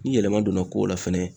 Ni yɛlɛma donna kow la fɛnɛ